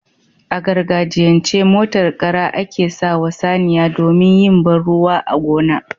A gargajiyan ce, motar Kara ake sawa saniya domin yin banruwa a gona